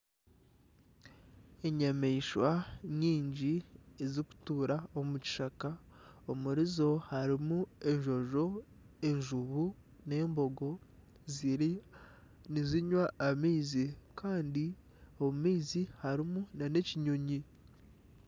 Enyamaishwa nyingi ezirikutuura omu kishaka omuri zo harimu enjojo, enjubu, n'embogo ziriyo nizinywa amaizi kandi omu maizi harimu nana ekinyonyi